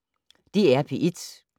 DR P1